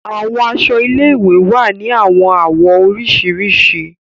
Àwọn aṣọ ilé-ìwé wà ni awọn awọ oriṣiriṣi.